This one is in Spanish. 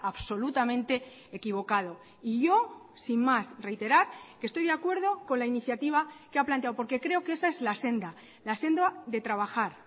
absolutamente equivocado y yo sin más reiterar que estoy de acuerdo con la iniciativa que ha planteado porque creo que esa es la senda la senda de trabajar